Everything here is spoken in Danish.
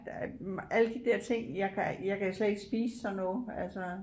Der alle de der ting jeg kan jeg kan slet ikke spise sådan noget altså